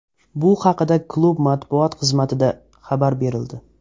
Bu haqida klub matbuot xizmatida xabar berildi.